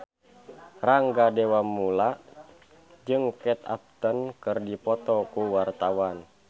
Rangga Dewamoela jeung Kate Upton keur dipoto ku wartawan